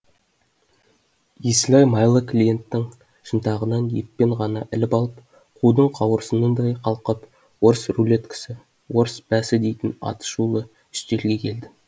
есілай майлы клиенттің шынтағынан еппен ғана іліп алып қудың қауырсынындай қалқып орыс рулеткасы орыс бәсі дейтін аты шулы үстелге әкелді